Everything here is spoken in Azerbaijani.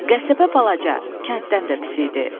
Qəsəbə balaca, kənddən də pis idi.